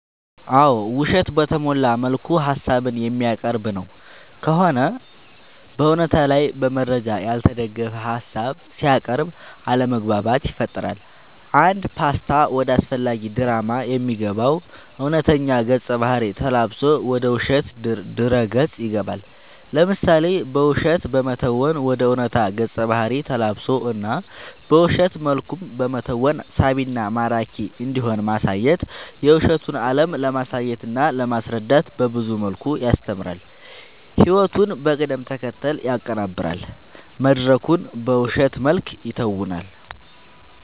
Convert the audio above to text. አዎ ውሸትን በተሞላ መልኩ ሀሳብን የሚያቀርብ ነው ከሆነ በእውነታ ላይ በመረጃ ያልተደገፈ ሀሳብ ሲያቅርብ አለማግባባት ይፈጥራል አንድ ፓስታ ወደ አላስፈላጊ ድራማ የሚገባው እውነተኛ ገፀ ባህርይ ተላብሶ ወደ ውሸት ድረ ገፅ ይገባል። ለምሳሌ በውሸት በመተወን ወደ ዕውነታ ገፀ ባህሪ ተላብሶ እና በውሸት መልኩም በመተወን እና ሳቢና ማራኪ እንዲሆን ማሳየት የውሸቱን አለም ለማሳየትና ለማስረዳት በብዙ መልኩ ያስተምራል ህይወቱን በቅደም ተከተል ያቀናብራል መድረኩን በውሸት መልክ ይተውናል።…ተጨማሪ ይመልከቱ